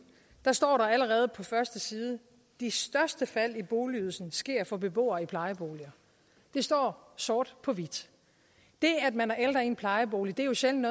står der allerede på den første side de største fald i boligydelsen sker for beboere i plejeboliger det står sort på hvidt det at man er ældre i en plejebolig er jo sjældent